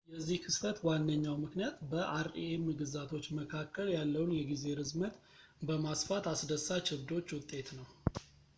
የዚህ ክስተት ዋነኛው ምክንያት በ rem ግዛቶች መካከል ያለውን የጊዜ ርዝመት በማስፋት አስደሳች ዕብዶች ውጤት ነው